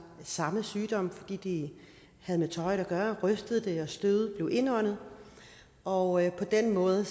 samme sygdom fordi de havde med tøjet at gøre rystede det og støvet blev indåndet og på den måde